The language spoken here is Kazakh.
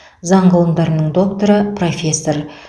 заң ғылымдарының докторы профессор